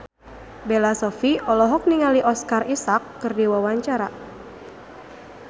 Bella Shofie olohok ningali Oscar Isaac keur diwawancara